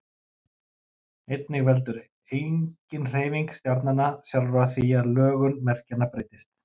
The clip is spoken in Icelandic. Einnig veldur eiginhreyfing stjarnanna sjálfra því að lögun merkjanna breytist.